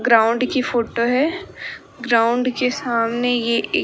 ground की photo है ground के सामने ये ए--